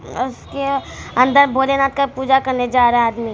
उसके अंदर भोले नाथ का पूजा करने जा रहा है आदमी |